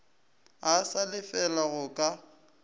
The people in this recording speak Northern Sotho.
a sa lefele go ka